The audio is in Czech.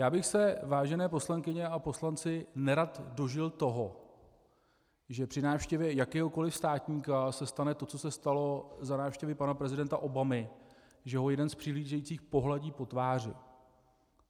Já bych se, vážené poslankyně a poslanci, nerad dožil toho, že při návštěvě jakéhokoli státníka se stane to, co se stalo za návštěvy pana prezidenta Obamy, že ho jeden z přihlížejících pohladí po tváři.